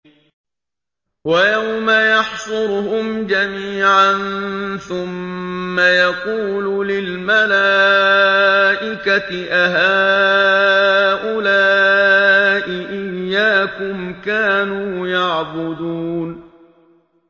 وَيَوْمَ يَحْشُرُهُمْ جَمِيعًا ثُمَّ يَقُولُ لِلْمَلَائِكَةِ أَهَٰؤُلَاءِ إِيَّاكُمْ كَانُوا يَعْبُدُونَ